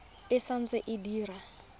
e sa ntse e dira